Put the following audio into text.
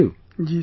Ji Sir